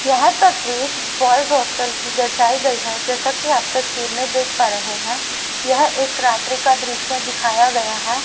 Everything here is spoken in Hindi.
यह तस्वीर बॉयज हॉस्टल की दर्शाई गई है जैसा कि आप तस्वीर में देख पा रहे हैं यह एक रात्रि का दृश्य दिखाया गया हैं।